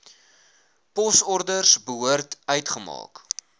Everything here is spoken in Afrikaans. posorders behoort uitgemaak